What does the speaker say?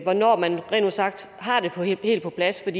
hvornår man har det helt på plads